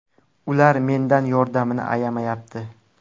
Ular mendan yordamini ayamayapti.